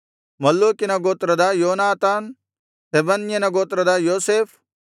ಮಲ್ಲೂಕಿಯ ಗೋತ್ರದ ಯೋನಾತಾನ್ ಶೆಬನ್ಯನ ಗೋತ್ರದ ಯೋಸೇಫ್